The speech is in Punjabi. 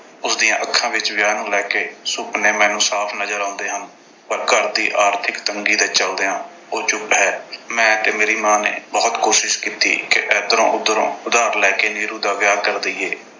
ਉਸਦੀਆਂ ਅੱਖਾਂ ਵਿੱਚ ਵਿਆਹ ਨੂੰ ਲੈ ਕੇ ਸੁਪਨੇ ਮੈਨੂੰ ਸਾਫ਼ ਨਜ਼ਰ ਆਉਂਦੇ ਹਨ। ਪਰ ਘਰ ਦੀ ਆਰਥਿਕ ਤੰਗੀ ਦੇ ਚਲਦਿਆਂ ਉਹ ਚੁੱਪ ਹੈ। ਮੈਂ ਤੇ ਮੇਰੀ ਮਾਂ ਨੇ ਬਹੁਤ ਕੋਸ਼ਿਸ਼ ਕੀਤੀ ਕਿ ਇਧਰੋਂ ਉਧਰੋਂ ਉਧਾਰ ਲੈ ਕੇ ਨੀਰੂ ਦਾ ਵਿਆਹ ਕਰ ਦੇਈਏ।